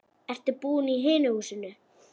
Ertu búinn í hinu húsinu?